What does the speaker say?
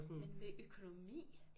Men med økonomi?